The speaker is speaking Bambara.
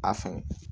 A fɛn